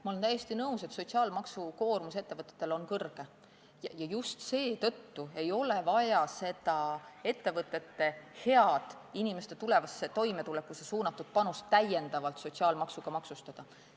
Ma olen täiesti nõus, et ettevõtete sotsiaalmaksukoormus on suur ja just seetõttu ei ole vaja seda ettevõtete head, inimeste tulevasse toimetulekusse suunatud panust täiendavalt sotsiaalmaksuga maksustada.